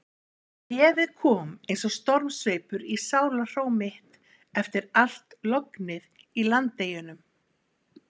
Bréfið kom eins og stormsveipur í sálarhró mitt eftir allt lognið í Landeyjunum.